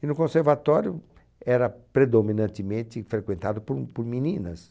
E no conservatório era predominantemente frequentado por um por meninas.